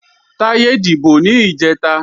Táyé dìbò ní ìjẹta